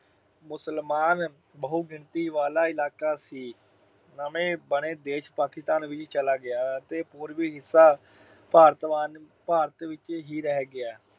ਮੁਸਲਮਾਨ ਬਹੁਗਿਣਤੀ ਵਾਲਾ ਇਲਾਕਾ ਸੀ, ਨਵੇਂ ਬਣੇ ਦੇਸ਼ ਪਾਕਿਸਤਾਨ ਵਿੱਚ ਚਲਾ ਗਿਆ ਅਤੇ ਪੂਰਬੀ ਹਿੱਸਾ ਭਾਰਤ ਵੰਡ ਅਹ ਭਾਰਤ ਵਿੱਚ ਹੀ ਰਹਿ ਗਿਆ।